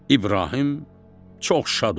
İbrahim çox şad oldu.